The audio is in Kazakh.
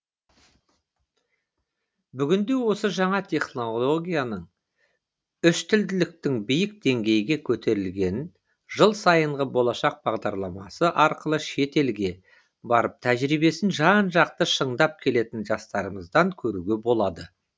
бүгінде осы жаңа технологияның үштілділіктің биік деңгейге көтерілгенін жыл сайынғы болашақ бағдарламасы арқылы шетелге барып тәжірибесін жан жақты шындап келетін жастарымыздан көруге болады